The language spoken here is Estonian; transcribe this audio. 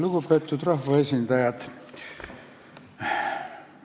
Lugupeetud rahvaesindajad!